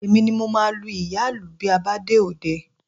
Èmi ni mo máa lu ìyá-ìlù bí a bá dé òde